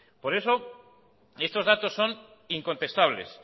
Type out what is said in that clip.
por eso estos datos son incontestables